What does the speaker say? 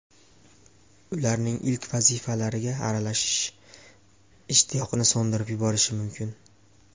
Ularning ilk vazifalariga aralashish ishtiyoqni so‘ndirib yuborishi mumkin.